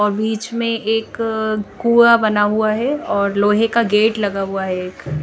और बिच में एक अः कुआ बना हुआ है लोहे का गेट लगा हुआ एक--